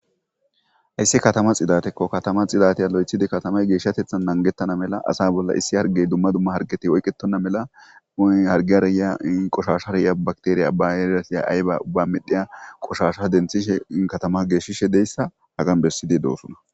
Hayssi katama xidaatekko katama xidatiya lo'iththidi geeshshateththan nagetana mala asa bolla issi harggey dumma dumma harggeti oyiqetena mela harggiyara yiya qoshashara yiya bakitera bayireseya ayiba ubba medhiya qoshasha denthrhishe katama geeshshishe diyayssa hagan bessidi doosona.